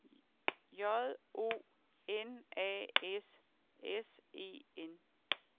J O N A S S E N